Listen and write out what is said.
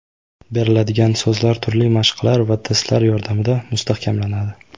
Beriladigan so‘zlar turli mashqlar va testlar yordamida mustahkamlanadi.